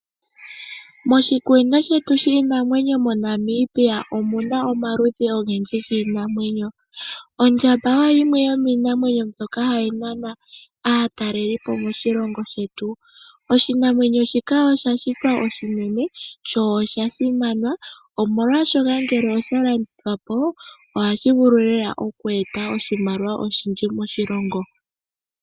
Moshikunino shetu shinamwenyo moNamibia omuna omaludhi ogendji giinamwenyo, ondjamba oyo yimwe yomiinamwenyo mbyoka hayi nana aatalelipo moshilongo shetu. Oshinamwenyo shika osha shitwa oshinene sho oshasimana omolwashoka ngele oshalandithwa po ohashi vulu lela okueta oshimaliwa oshindji moshilongo.